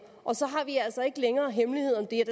og så har vi altså ikke længere hemmelighed om det